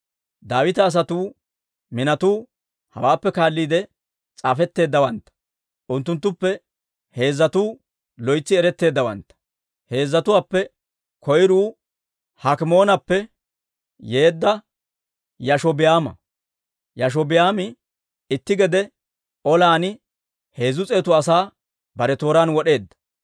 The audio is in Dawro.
Daawita asatuu minotuu hawaappe kaalliide s'aafetteeddawantta. Unttunttuppe heezzatuu loytsi eretteeddawantta. Heezzatuwaappe koyruu Hakimoonappe yeedda Yaashobi'aama; Yaashobi'aami itti gede olan heezzu s'eetu asaa bare tooraan wod'eedda.